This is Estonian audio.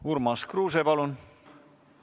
Urmas Kruuse, palun!